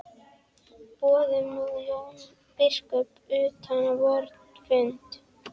Boðum nú Jón biskup utan á vorn fund.